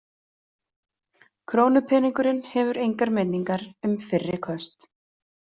Krónupeningurinn hefur engar minningar um fyrri köst.